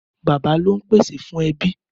Bàbá ló n pésé fún èbí